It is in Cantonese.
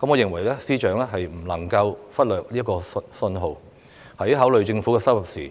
我認為司長不能夠忽略這些訊號，在考慮政府收入時，